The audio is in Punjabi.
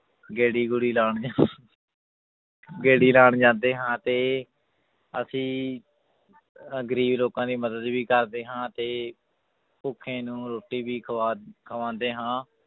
ਗੇੜੀ ਗੂੜੀ ਲਾਉਂਦੇ ਹਾਂ ਗੇੜੀ ਲਾਉਣ ਜਾਂਦੇ ਹਾਂ ਤੇ ਅਸੀਂ ਅਹ ਗ਼ਰੀਬ ਲੋਕਾਂ ਦੀ ਮਦਦ ਵੀ ਕਰਦੇ ਹਾਂ ਤੇ ਭੁੱਖੇ ਨੂੰ ਰੋਟੀ ਵੀ ਖਵਾ ਖਵਾਉਂਦੇ ਹਾਂ